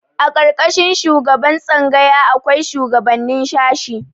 A ƙarƙashin shugaban tsangaya akwai shuwagabannin shashi.